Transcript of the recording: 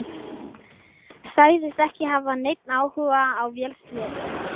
Sagðist ekki hafa neinn áhuga á vélsleðum.